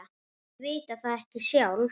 Þau vita það ekki sjálf.